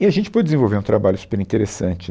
E a gente pôde desenvolver um trabalho super interessante.